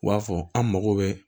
U b'a fɔ an mago bɛ